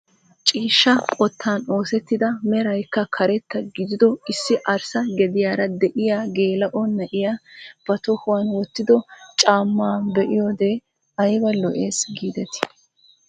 Ciishshaa qottan oseettida meraykka karetta gidiido issi arssa gediyaara de'iyaa geela'o na'iyaa ba tohuwaan wottido caammaa be'iyoode ayba lo"ees gidetii!